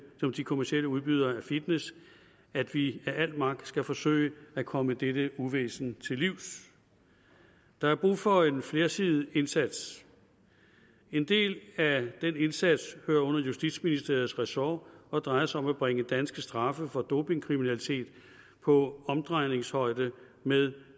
som de kommercielle udbydere af fitness at vi af al magt skal forsøge at komme dette uvæsen til livs der er brug for en flersidet indsats en del af den indsats hører under justitsministeriets ressort og drejer sig om at bringe danske straffe for dopingkriminalitet på omdrejningshøjde med